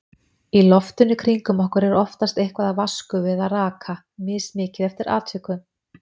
Í loftinu kringum okkur er oftast eitthvað af vatnsgufu eða raka, mismikið eftir atvikum.